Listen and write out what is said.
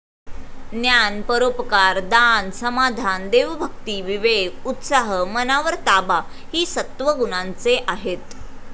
ज्ञान, परोपकार, दान, समाधान, देवभक्ती, विवेक, उत्साह, मनावर ताबा हि सत्त्वगुणांचे आहेत ।